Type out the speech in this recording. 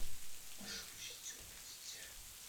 можешь включить темное дитя